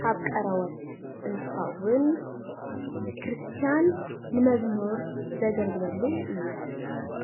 ካብ ቆርበት እንትከውን ክርስትያን ንመዝሙር ዘገልግልሉ እዩ፡፡